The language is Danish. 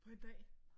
På en dag?